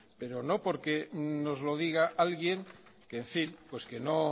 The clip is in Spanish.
pero no porque nos lo diga alguien que en fin